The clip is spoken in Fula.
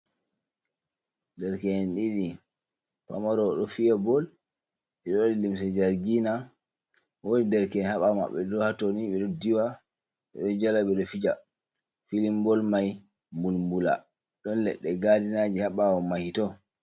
Dereken ɗiɗi pamaro ɗo fiya bol, ɓe ɗo waɗi limse jargina. Woodi dereke'en haa ɓaawo maɓɓe, ɓe ɗo haa toni, ɓe ɗo diwa, ɓe ɗo jala ,ɓe ɗo fija, filimbol may mbulmbula ɗon leɗɗe gaadinaji haa ɓaawo mahi to.